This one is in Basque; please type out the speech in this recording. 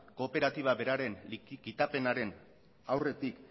kooperatiba beraren kitapenaren aurretik